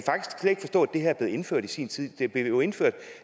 det her er blevet indført i sin tid det blev jo indført